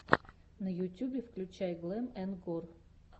на ютьюбе включай глэм энд гор